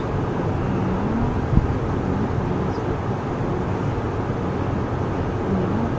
dawr a awm a chuanin tennis racket a awm a ah football a awm a--